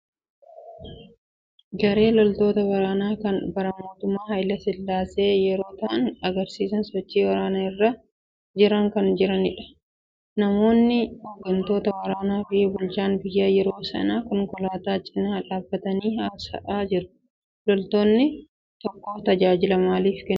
Garee loltoota waraanaa kan bara mootummaa Hayilasillaasee yoo ta'an, agarsiisa sochii waraanaa irra jiran kan jiranidha. namoonni hooggantoota waraanaa fi bulchaan biyyaa yeroo saniis konkolaataa cinaa dhaabatanii haasa'aa jiru. loltuun biyya tokkoof tajaajila maalii kennaa?